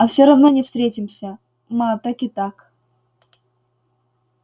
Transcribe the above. а всё равно не встретимся ма так и так